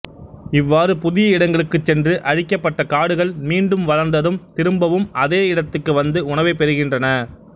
இவ்வாறு புதிய இடங்களுக்குச் சென்று அழிக்கப்பட்ட காடுகள் மீண்டும் வளர்ந்ததும் திரும்பவும் அதே இடத்துக்கு வந்து உணவைப் பெறுகின்றன